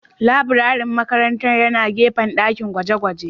Laburaren makarantar yana gefen dakin gwaje-gwaje